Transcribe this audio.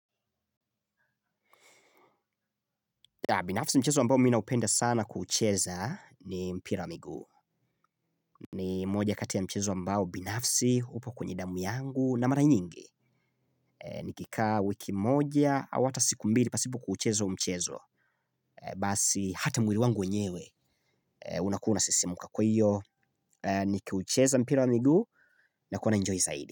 Binafsi mchezo wa ambao mi naopenda sana kuucheza ni mpira wa miguu. Ni moja kati ya mchezo ambao binafsi upo kwenye damu yangu na mara nyingi. Nikikaa wiki moja, au hata siku mbili pasipo kuucheza huo mchezo. Basi hata mwili wangu wenyewe, unakuwa unasisimuka kwa hiyo. Nikiucheza mpira wa miguu nakuwa naenjoy zaidi.